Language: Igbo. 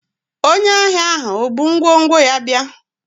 onye ahia ahu o bu ngwongwo ya bia?